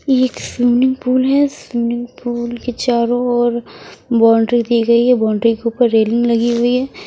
एक swimming pool है swimming pool के चारों ओर बाउंड्री की गई है बाउंड्री के ऊपर रेलिंग लगी हुई है।